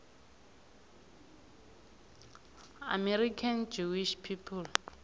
american jewish people